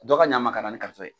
Dɔ ka ɲa an ma ka na ni ye.